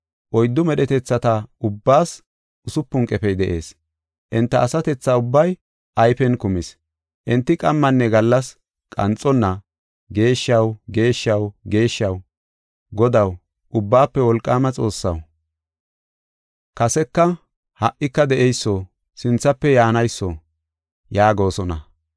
Oyddu medhetethata ubbaas usupun qefey de7ees; enta asatethaa ubbay ayfen kumis. Enti qammanne gallas qanxonna, “Geeshshaw, geeshshaw, geeshshaw, Godaw, Ubbaafe Wolqaama Xoossaw, Kaseka, ha77ika de7eyso, sinthafe yaanayso” yaagosona.